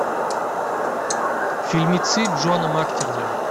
фильмицы джона мактирнана